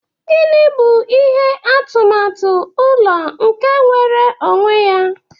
Gini bụ ihe atụmatụ ụlọ nke nwere onwe ya?